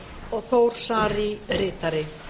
og þór saari ritari